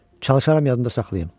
Çalışaram yadda saxlayım.